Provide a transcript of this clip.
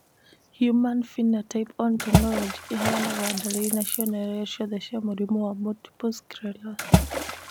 Human Phenotype Ontology ĩheanaga ndariri na cionereria ciothe cia mũrimũ wa Multiple sclerosis.